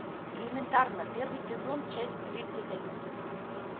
элементарно первый сезон часть тридцать один